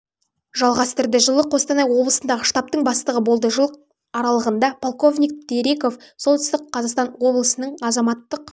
жалғастырды жылы қостанай облысындағы штабтың бастығы болды жыл аралығында полковник терейков солтүстік қазақстан обласының азаматтық